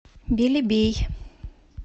белебей